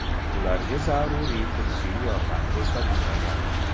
Ularga zaruriy tibbiy yordam ko‘rsatilmagan.